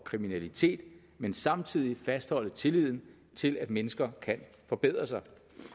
kriminalitet men samtidig fastholde tilliden til at mennesker kan forbedre sig